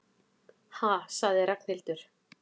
Ha sagði Ragnhildur.